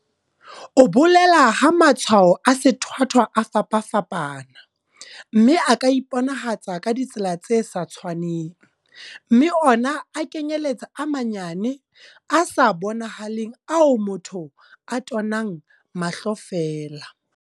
O bolela ha matshwao a sethwathwa a fapafapana, mme a ka iponahatsa ka ditsela tse sa tshwaneng, mme ona a kenyeletsa a manyane, a sa bonahaleng ao motho a tonang mahlo feela.